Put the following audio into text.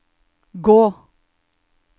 gå